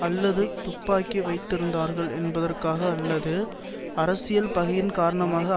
அல்லது துப்பாக்கி வைத்திருந்தார்கள் என்பதற்காக அல்லது அரசியல் பகையின் காரணமாக